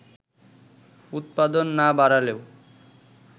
উৎপাদন না বাড়লেও